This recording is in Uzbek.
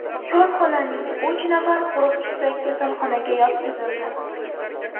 Korxonaning uch nafar qo‘riqchisi kasalxonaga yotqizildi.